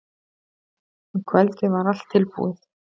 Um kvöldið var allt tilbúið.